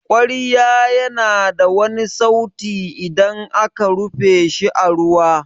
kwarya ya na wani sauti idan aka rufe shi a ruwa.